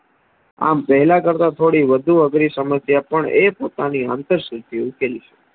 આમ પહેલા કરતા થોડી વધુ અઘરી સમસ્યા એથતા ની હંફારસથીતી ઉકેલી